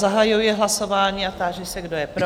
Zahajuji hlasování a táži se, kdo je pro?